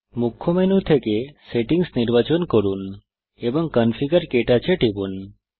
মুখ্য মেনু থেকে সেটিংস নির্বাচন করুন এবং কনফিগার KTouch এ টিপুন